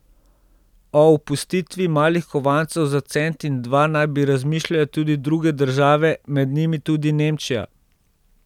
O opustitvi malih kovancev za cent in dva naj bi razmišljale tudi druge države, med njimi tudi Nemčija.